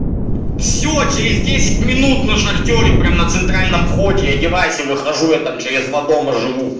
все через десять минут на шахтёре прям на центральном входе одевайся выхожу я там через два дома живу